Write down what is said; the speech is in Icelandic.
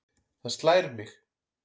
Það slær mig.